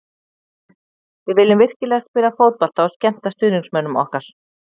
Við viljum virkilega spila fótbolta og skemmta stuðningsmönnum okkar.